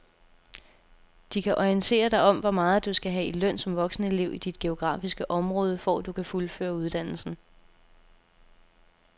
De kan orientere dig om hvor meget du skal have i løn som voksenelev i dit geografiske område, for at du kan fuldføre uddannelsen.